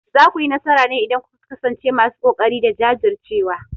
Za ku yi nasara ne idan kuka kasance masu kokari da jajircewa.